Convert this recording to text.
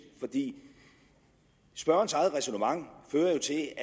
for spørgerens eget ræsonnement fører til at